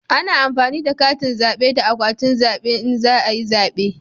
Ana amfani da katin zabe da akwatin zabe in za a yi zabe